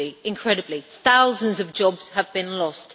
Incredibly, thousands of jobs have been lost.